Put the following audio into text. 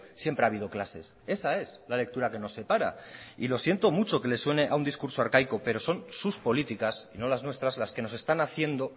siempre ha habido clases esa es la lectura que nos separa y lo siento mucho que les suene a un discurso arcaico pero son sus políticas y no las nuestras las que nos están haciendo